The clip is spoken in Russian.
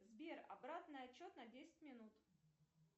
сбер обратный отсчет на десять минут